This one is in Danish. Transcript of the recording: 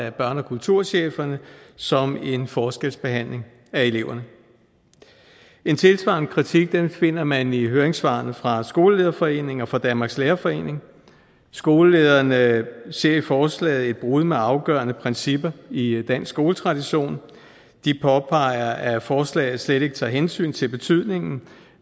af børne og kulturchefforeningen som forskelsbehandling af eleverne en tilsvarende kritik finder man i høringssvarene fra skolelederforeningen og danmarks lærerforening skolelederne ser i forslaget et brud med afgørende principper i i dansk skoletradition de påpeger at forslaget slet ikke tager hensyn til betydningen